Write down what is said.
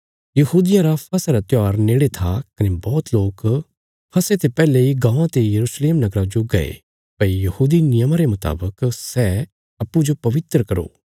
यहूदियां रा फसह रा त्योहार नेड़े था कने बौहत लोक फसह ते पैहले इ गाँवां ते यरूशलेम नगरा जो गये भई यहूदी नियमा रे मुतावक सै अप्पूँजो पवित्र करो